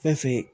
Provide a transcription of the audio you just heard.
Fɛn fe yen